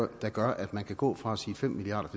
der gør at man kan gå fra at sige fem milliard